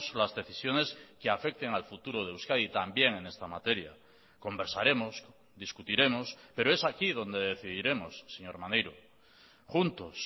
las decisiones que afecten al futuro de euskadi también en esta materia conversaremos discutiremos pero es aquí donde decidiremos señor maneiro juntos